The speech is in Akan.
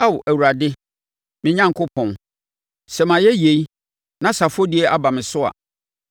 Ao, Awurade me Onyankopɔn, sɛ mayɛ yei na sɛ afɔdie aba me so a,